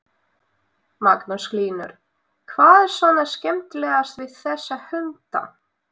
Magnús Hlynur: Hvað er svona skemmtilegast við þessa hunda?